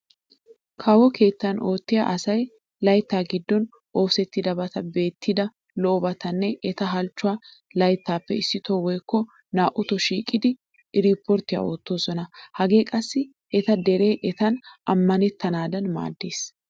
Kawo keettan oottiya asay layttaa giddon oosettidabata beettida lo'obatanne eta halchchuwa layttaappe issitoo woykko naa"uto shiiqidi eriiportte oottoosona. Hage qassi eta deree etaan ammanettanaadan maaddees.